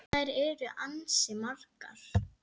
Því þær eru ansi margar.